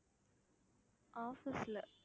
office ல